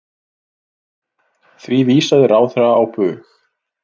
Því vísaði ráðherra á bug.